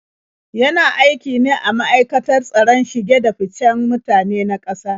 Yana aiki ne a ma'aikatar tsaron shige-da-ficen mutane na ƙasa?